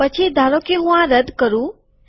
પછી ધારોકે હું આ રદ્દ કરું